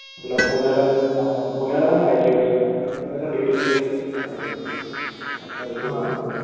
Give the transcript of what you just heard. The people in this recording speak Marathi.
तुला पुण्याला वगैरे राहावं लागलं. पुण्यालापण पण कस डेडिकेशन वगैरे